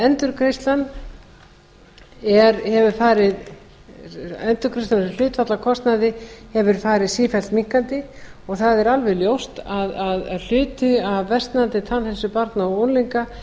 endurgreiðslan sem hlutfall af kostnaði hefur farið sífellt minnkandi og það er alveg ljóst að hluti af versnandi tannheilsu barna